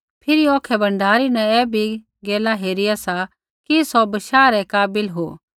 फिरी औखै भण्डारी न भी ऐ गैल हेरिया सा कि सौ बशाह रै काबिल हो